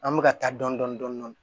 An bɛ ka taa dɔni dɔni dɔni dɔni